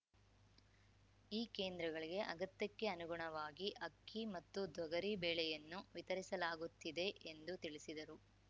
ಈ ಕೇಂದ್ರಗಳಿಗೆ ಅಗತ್ಯಕ್ಕೆ ಅನುಗುಣವಾಗಿ ಅಕ್ಕಿ ಮತ್ತು ತೊಗರಿ ಬೇಳೆಯನ್ನು ವಿತರಿಸಲಾಗುತ್ತಿದೆ ಎಂದು ತಿಳಿಸಿದರು